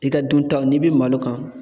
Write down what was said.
I ka duntaw n'i be malo kan